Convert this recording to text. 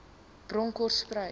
bronkhortspruit